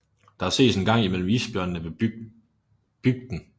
Der ses en gang imellem isbjørne ved bygden